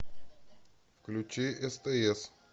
включи стс